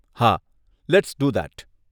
હા, let's do that.